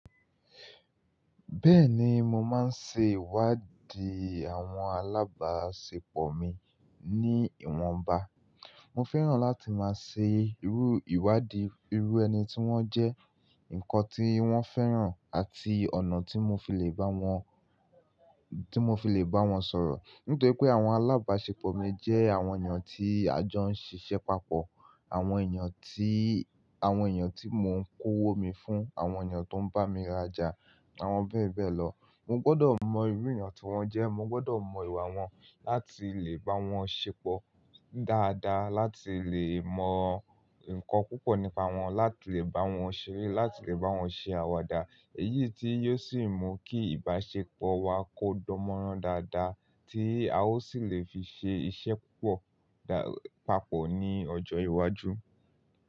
Bẹ́ẹ̀ni, mo máa ń ṣe ìwádìí àwọn alábáṣepọ̀ mi ní ìwọ̀nba. Mo fẹ́ràn láti máa ṣe irú ìwádìí irú ẹni tí wọ́n jẹ́, nǹkan tí wọ́n fẹ́ràn àti ọ̀nà tí mo fi le bá wọn, tí mo fi le bá wọn sọ̀rọ̀. Nítorí pé àwọn alábáṣepọ̀ mi jẹ́ àwọn èèyàn tí àjọ ń ṣiṣẹ́ papọ̀, àwọn èèyàn tí, àwọn èèyàn tí mò ń kówó mi fún, àwọn èèyàn tó ń bá mi rajà, àwọn bẹ́ẹ̀ bẹ́ẹ̀ lọ. Mo gbọ́dọ̀ mọ irú èèyàn tí wọ́n jẹ́, mo gbọ́dọ̀ mọ ìwà wọn láti le bá wọn ṣepọ̀ dáadáa, láti le mọ nǹkan púpọ̀ nípa wọn, láti le bá wọn ṣeré, láti le bá wọn ṣe àwàdà. Èyí tí yóò sì mú kí ìbáṣepọ̀ wa kó dánmọ́rán dáadáa tí a ó sì le fi ṣe iṣẹ́ púpọ̀ dá, papọ̀ ní ọjọ́ iwájú.